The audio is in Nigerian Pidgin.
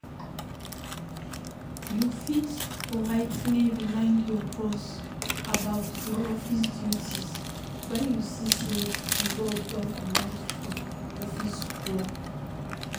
You fit politely remind your boss about your office duties when you see sey di work don comot from office work